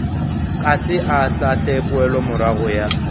ka se ahlaahle poelomorago ya